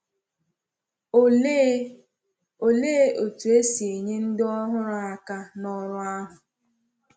Òlee Òlee otú e si enyé ndị ọhụrụ aka n’ọrụ ahụ?